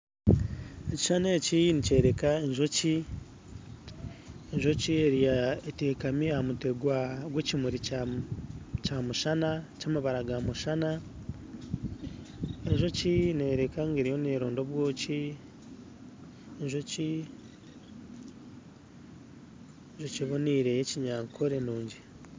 Ekishuushani eki nikyoreka enjoki etekami aha mutwe gw'ekimuri ky'amabara ga mushana enjokio neeyoreka ngu neeronda obwoki, enjoki ebonire y'ekinyankore nugi